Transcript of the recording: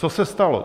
Co se stalo?